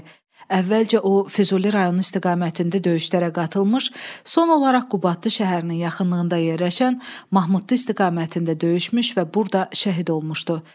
Əvvəlcə o Füzuli rayonu istiqamətində döyüşlərə qatılmış, son olaraq Qubadlı şəhərinin yaxınlığında yerləşən Mahmudlu istiqamətində döyüşmüş və burada şəhid olmuşdu.